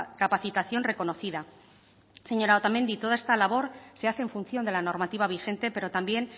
capacitación reconocida señora otamendi toda esta labor se hace en función de la normativa vigente pero también